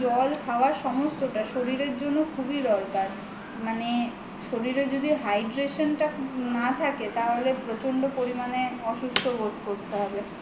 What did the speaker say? জল খাওয়ার সমস্তটা শরীরের জন্য খুবই দরকার মানে শরীরে যদি Hydration টা না থাকে তাহলে প্রচন্ড পরিমানে অসুস্থ বোধ করতে হবে